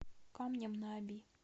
камнем на оби